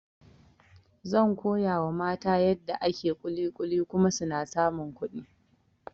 Zan koyawa mata yadda ake kulikuli kuma suna samun kuɗi